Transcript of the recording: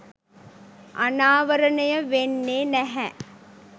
අනාවරණය වෙන්නේ නැහැ.